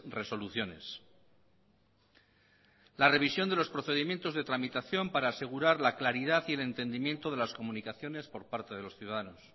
resoluciones la revisión de los procedimientos de tramitación para asegurar la claridad y el entendimiento de las comunicaciones por parte de los ciudadanos